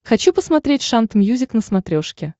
хочу посмотреть шант мьюзик на смотрешке